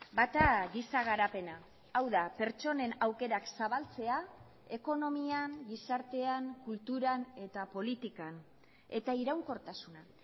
bata giza garapena hau da pertsonen aukerak zabaltzea ekonomian gizartean kulturan eta politikan eta iraunkortasuna